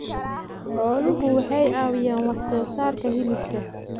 Xooluhu waxay caawiyaan wax soo saarka hilibka.